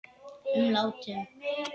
um látum.